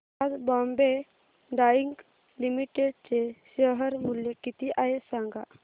आज Bombay dyeing limited चे share मूल्य किती आहे सांगा